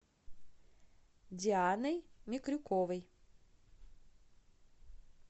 дианой микрюковой